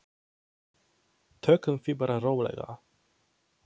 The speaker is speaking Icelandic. Tökum því bara rólega.